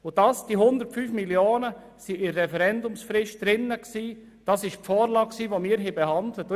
Und dass die 105 Mio. Franken im Referendumstext standen, geschah wegen der Vorlage, die wir behandelt haben.